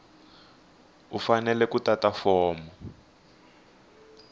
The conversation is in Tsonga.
u fanele ku tata fomo